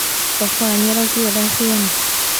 Baba wanyu arokire thaa cigana